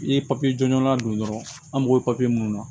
I ye papiye jɔnjɔn la don dɔrɔn an mago bɛ papiye mun na